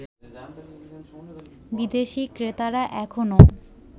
বিদেশি ক্রেতারা এখনও